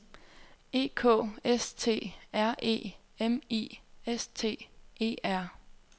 E K S T R E M I S T E R